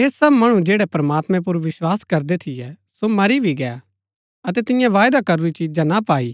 ऐह सब मणु जैड़ै प्रमात्मैं पुर विस्वास करदै थियै सो मरी भी गै अतै तिऐं वायदा करूरी चीजा ना पाई